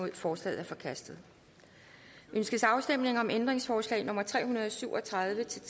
en forslaget er forkastet ønskes afstemning om ændringsforslag nummer tre hundrede og syv og tredive til